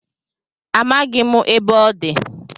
Amaghị m ebe ọ dị